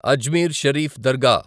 Ajmer Sharif దర్గా